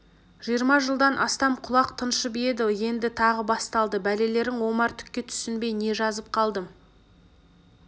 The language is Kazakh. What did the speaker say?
жиырма жылдан астам құлақ тыншып еді енді тағы басталды бәлелерің омар түкке түсінбей не жазып қалдым